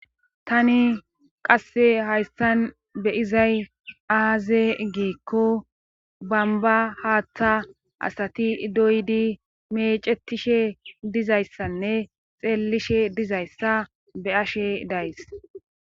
tani qasse hayssan beyizay aaze giikko bamba haaththa asati idoydi mecetishe dizayssanne xeellishe dizayssa be ashe days